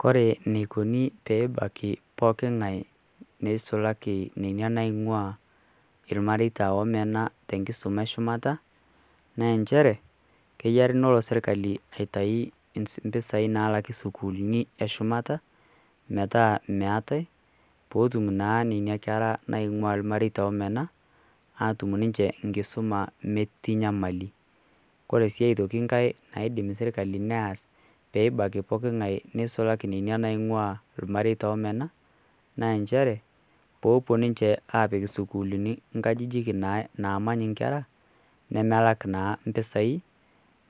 Kore eneikuni pee ebaiki pookingai neisulaki ninye inaing'uaa ilmareita oomena te enkisuma e shumata, naa enchere kenare nelo sirkali aitayu impisai naalaki sukuulini e shumata, metaa meatai, peetum naa nena kera naing'ua ilmareita omena atum ninche enkisuma metii nyamali. Kore sii aitoki nkai naidim serkali neas, peebaiki pookingai neisulaki ninye naing'ua ilmareita oomena, naa nchere pee epuo ninche apik isukulini inkajijik naamany inkera nemelak naa impisai